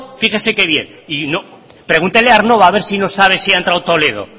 fíjese que bien pregúntele a aernnova si no sabe si ha entrado toledo